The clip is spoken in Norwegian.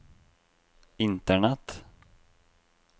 internett